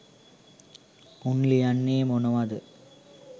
උන් ලියන්නේ මොනවද